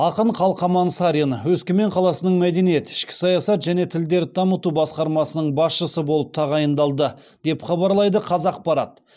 ақын қалқаман сарин өскемен қаласының мәдениет ішкі саясат және тілдерді дамыту басқармасының басшысы болып тағайындалды деп хабарлайды қазақпарат